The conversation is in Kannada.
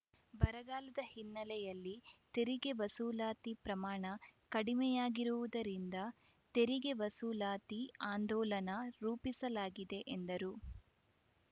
ಬರಗಾಲದ ಹಿನ್ನೆಲೆಯಲ್ಲಿ ತೆರಿಗೆ ವಸೂಲಾತಿ ಪ್ರಮಾಣ ಕಡಿಮೆಯಾಗಿರುವುದರಿಂದ ತೆರಿಗೆ ವಸೂಲಾತಿ ಆಂದೋಲನ ರೂಪಿಸಲಾಗಿದೆ ಎಂದರು